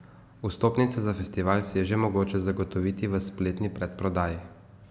Vstopnice za festival si je že mogoče zagotoviti v spletni predprodaji.